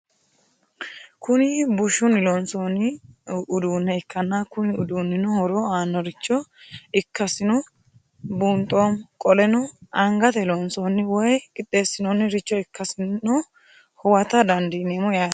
Kuni bushuni loonsani udune ikana Kuni udunino horo annoricho ikasino bunxemo qoleno angate loonsani woyi qixesinaniricho ikasino huwata dandinemo yaate?